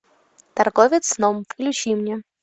торговец сном включи мне